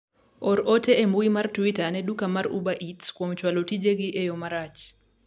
or ote embui mar twita ne duka mar uber eats kuom chwalo tijegi e yo marach